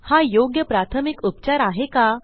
हा योग्य प्राथमिक उपचार आहे का